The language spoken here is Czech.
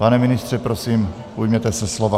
Pane ministře, prosím, ujměte se slova.